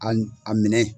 A minɛ